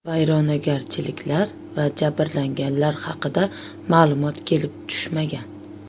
Vayronagarchiliklar va jabrlanganlar haqida ma’lumot kelib tushmagan.